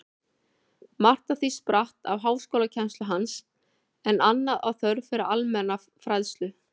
Margt af því spratt af háskólakennslu hans, en annað af þörf fyrir almenna fræðslu.